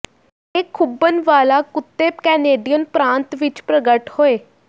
ਇਹ ਖੁੱਭਣ ਵਾਲਾ ਕੁੱਤੇ ਕੈਨੇਡੀਅਨ ਪ੍ਰਾਂਤ ਵਿੱਚ ਪ੍ਰਗਟ ਹੋਏ